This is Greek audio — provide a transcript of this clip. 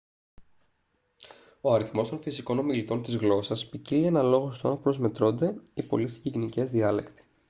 ο αριθμός των φυσικών ομιλητών της γλώσσας ποικίλει αναλόγως του αν προσμετρώνται οι πολύ συγγενικές διάλεκτοι